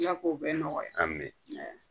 I kow bɛ nɔgɔya ami .